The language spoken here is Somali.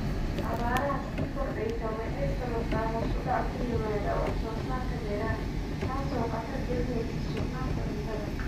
Abaarta sii kordheysa waxay sababtaa hoos u dhac ku yimaada wax soo saarka beeraha, taasoo khatar gelinaysa sugnaanta cuntada.